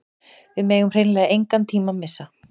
Við megum hreinlega engan tíma missa